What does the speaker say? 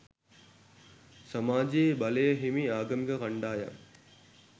සමාජයේ බලය හිමි ආගමික කණ්ඩායම්